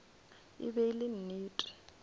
e be e le nnete